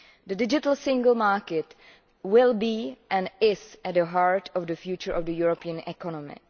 The digital single market will be and is at the heart of the future of the European economy.